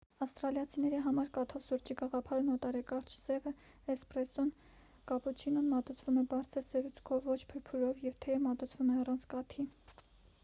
ավստրալիացիների համար 'կաթով' սուրճի գաղափարն օտար է։ կարճ սևը 'էսպրեսսոն' է կապուչինոն մատուցվում է բարձր սերուցքով ոչ փրփուրով և թեյը մատուցվում է առանց կաթի։